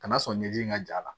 Kana sɔn ɲɛji in ka ja la